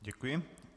Děkuji.